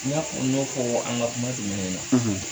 N y'a fɔ n'o fɔ an ka kuma tɛmɛnenw na, .